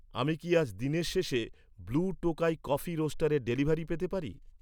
আমি কি আজ দিনের শেষে ব্লু টোকাই কফি রোস্টারের ডেলিভারি পেতে পারি?